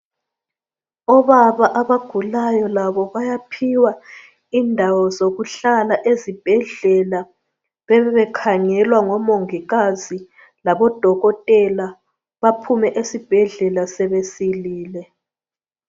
Obaba abagulayo labo bayaphiwa indawo zokuhlala ezibhedlela bebe bekhangelwa ngomongikazi labodokotela baphume esibhedlela sebesilile.